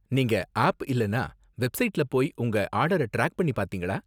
நீங்க ஆப் இல்லனா வெப்சைட்ல போய் உங்க ஆர்டர டிராக் பண்ணி பார்த்தீங்களா?